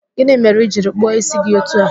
Gịnị mere ị jiri kpụọ ísí gị otu a?